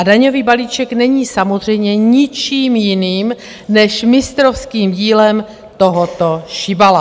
A daňový balíček není samozřejmě ničím jiným, než mistrovským dílem tohoto šibala.